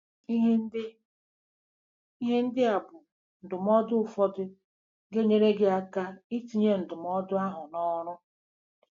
Ihe ndị Ihe ndị a bụ ndụmọdụ ụfọdụ ga-enyere gị aka itinye ndụmọdụ ahụ n'ọrụ.